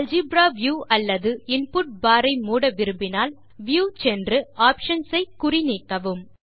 algebra view அல்லது input bar ஐ மூட விரும்பினால் வியூ சென்று ஆப்ஷன்ஸ் ஐ குறி நீக்கவும்